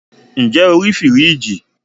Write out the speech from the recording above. ǹjẹ́ o rí fìríìjì?